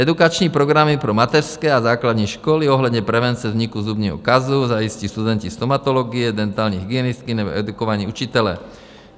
Edukační programy pro mateřské a základní školy ohledně prevence vzniku zubního kazu - zajistí studenti stomatologie, dentální hygienistky nebo edukovaní učitelé.